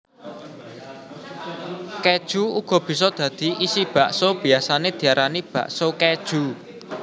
Kéju uga bisa dadi isi bakso biyasané diarani bakso kéju